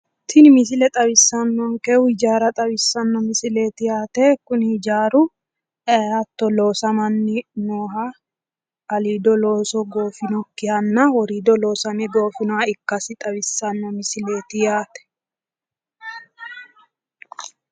Tini misile xawissannonkehu hijaara xawissanno misileeti yaate kuni hijaaru hatto loosamanni nooha aliido looso goofinokkihanna woriido loosame goofinoha ikkasi xawissanno misileeti yaate.